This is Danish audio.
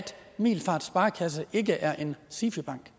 middelfart sparekasse ikke er en sifi bank